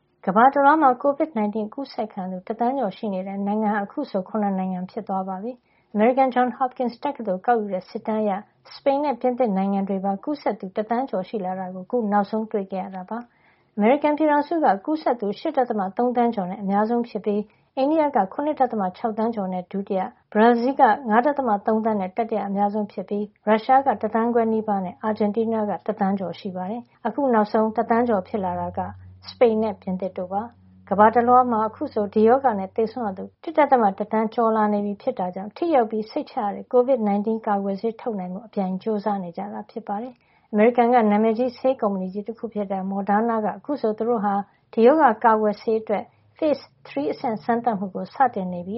ကမ္ဘာတလွှားမှာ COVID-19 အကူးစက်ခံရသူ တသန်းကျော်ရှိနေတဲ့ နိုင်ငံဟာ အခုဆို ၇ နိုင်ငံ ဖြစ်သွားပါပြီ။ အမေရိကန် Johns Hopkins တက္ကသိုလ်က ကောက်ယူတဲ့ စစ်တမ်းအရ စပိန်နဲ့ ပြင်သစ်နိုင်ငံတွေမှာပါ ကူးစက်သူ တသန်းကျော်ရှိလာတာကို အခု နောက်ဆုံး တွေ့ရှိခဲ့ရတာပါ။ အမေရိကန်ပြည်ထောင်စုက ကူးစက်သူ ၈.၃ သန်းကျော်နဲ့ အများဆုံးဖြစ်ပြီး အိန္ဒိယက ၇.၆ သန်းကျော်နဲ့ ဒုတိယ၊ ဘရာဇီးလ်က ၅.၃ သန်းနဲ့ တတိယအများဆုံး ဖြစ်ပြီး ရုရှားက တသန်းခွဲနီးပါးနဲ့ အာဂျင်တီးနားက တသန်းကျော် ရှိနေတာပါ။ အခုနောက်ဆုံး ကူးစက်သူ တသန်းကျော် ဖြစ်လာတာက အနောက်ဥရောပက စပိန်နဲ့ ပြင်သစ်တို့ ဖြစ်ပါတယ်။ ကမ္ဘာတလွှား မှာ အခုဆို ဒီရောဂါနဲ့ သေဆုံးရသူ ၁.၁ သန်းကျော် လာနေပြီ ဖြစ်တာကြောင့် ထိရောက်ပြီး စိတ်ချရတဲ့ COVID-19 ကာကွယ်ဆေး ထုတ်နိုင်ဖို့အပြိုင်ကြိုးစား နေကြတာ ဖြစ်ပါတယ်။ အမေရိကန်က နာမည်ကြီး ဆေးကုမ္ပဏီကြီး တခုဖြစ်တဲ့ Moderna က အခုဆို သူတို့ဟာ ဒီရောဂါ ကာကွယ်ဆေး အတွက် Phase 3 အဆင့် စမ်းသပ်မှုကို စတင်နေပြီ